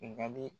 Nka bi